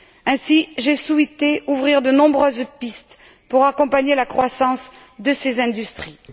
Ainsi, j'ai souhaité ouvrir de nombreuses pistes pour accompagner la croissance de ces industries.